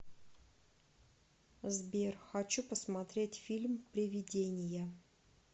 сбер хочу посмотреть фильм привидения